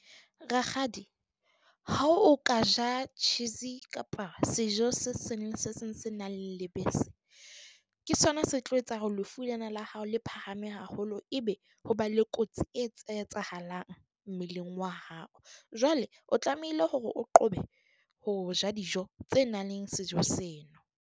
Rakgadi ha o ka ja cheese kapa sejo se seng le se seng se nang lebese. Ke sona se tlo etsa hore lefu lena la hao le phahame haholo, ebe ho ba le kotsi e etsahalang mmeleng wa hao. Jwale o tlamehile hore o qobe ho ja dijo tse nang le sejo seno.